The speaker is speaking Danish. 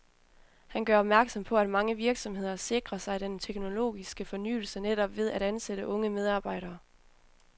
Han gør opmærksom på, at mange virksomheder sikrer sig den teknologiske fornyelse netop ved at ansætte unge medarbejdere.